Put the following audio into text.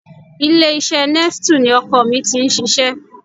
Ilé-iṣẹ́ Nestle ni ọkọ mi ti ń ṣiṣẹ́